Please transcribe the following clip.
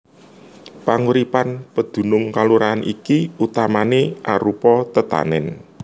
Panguripan pedunung kalurahan iki utamané arupa tetanèn